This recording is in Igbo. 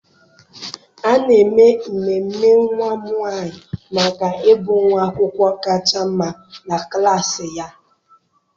A na-eme ememe nwa m nwanyị maka ịbụ nwa akwụkwọ kacha mma na klassị ya.